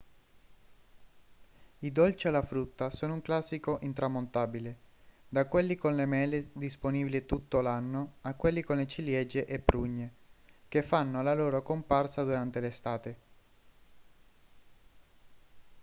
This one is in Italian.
i dolci alla frutta sono un classico intramontabile da quelli con le mele disponibili tutto l'anno a quelli con ciliegie e prugne che fanno la loro comparsa durante l'estate